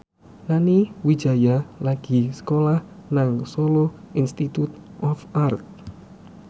Nani Wijaya lagi sekolah nang Solo Institute of Art